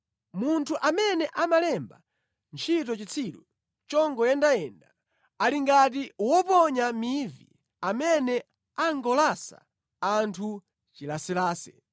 Munthu amene amalemba ntchito chitsiru chongoyendayenda, ali ngati woponya mivi amene angolasa anthu chilaselase.